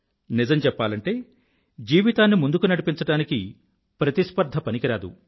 నిజం చెప్పాలంటే జీవితాన్ని ముందుకు నడిపించడానికి ప్రతిస్పర్ధ పనికిరాదు